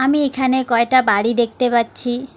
আমি এখানে কয়টা বাড়ি দেখতে পাচ্ছি।